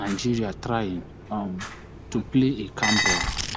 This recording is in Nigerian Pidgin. nigeria trying um to play a calm ball